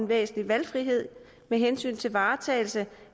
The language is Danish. væsentlig valgfrihed med hensyn til varetagelse